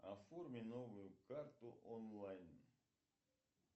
оформи новую карту онлайн